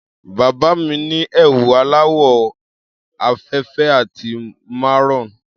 Bàbá mi ni ẹwù aláwọ̀ òfeèfé àti maroon.